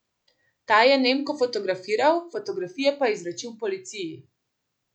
Ta je Nemko fotografiral, fotografije pa izročil policiji.